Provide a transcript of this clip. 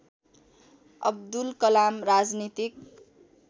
अब्दुल कलाम राजनीतिक